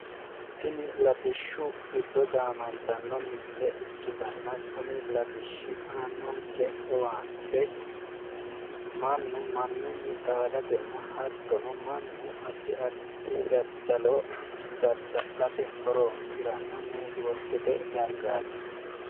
Tini latishshu giddo gaamantanno misile ikkitanna kuni latishshi aannonke owaante mannu mannunni xaadatenna hattono mannu addi addi daddalo dadda'lanni horoonsi'ranno neetiworkete danaati